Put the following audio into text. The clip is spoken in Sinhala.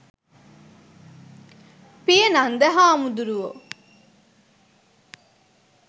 පියනන්ද හාමුදුරුවෝ